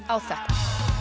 á þetta